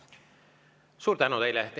Suur tänu teile!